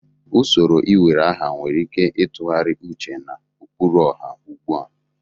Usoro iwere aha nwere ike ịtụgharị uche na ụkpụrụ ọha ugbu a.